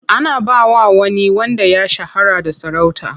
Ana ba wa wani wanda ya shahara sarauta.